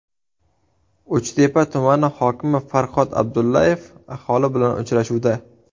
Uchtepa tumani hokimi Farhod Abdullaev aholi bilan uchrashuvda.